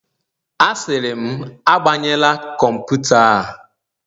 Asịrị m, agbanyela kọmputa a